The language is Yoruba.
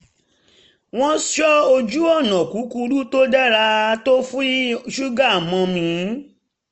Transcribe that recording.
wọ́n sọ ojú-ọ̀nà kúkúrú tó dára tó fi ṣúgà mọ́ mi